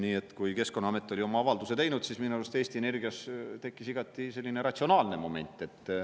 Nii et kui Keskkonnaamet oli oma avalduse teinud, siis minu arust Eesti Energias tekkis igati selline ratsionaalne moment.